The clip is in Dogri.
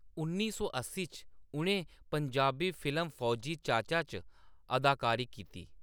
उन्नी सौ अस्सी च उʼनें पंजाबी फिल्म फौजी चाचा च अदाकारी कीती।